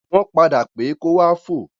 Wọ́n padà pé kó wá fò.